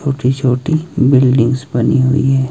छोटी छोटी बिल्डिंग्स बनी हुई है।